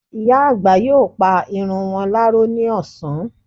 Ìyá àgbà yóò pa irun wọn láró ní ọ̀sán